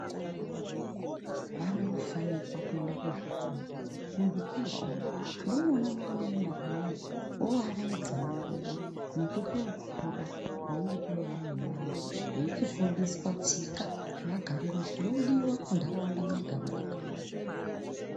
Vana vadoko vanofanira kuenda kuzvikora. Muzvikora umu ndimwo mwavanoenda voaraidza nguwa nekutookura kunenge kune vamweni vantu veichidzidziswa tsika nemagariro zvinodiwa munharaunda mwega mwega.